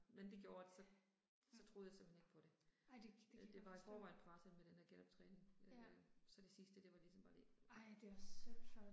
Men det gjorde at så så troede jeg simpelthen ikke på det. Øh det var i forvejen presset med den der genoptræning øh. Så det sidste det var ligesom bare lige